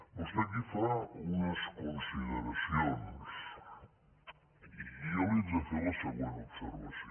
vostè aquí fa unes consideracions i jo li he de fer la següent observació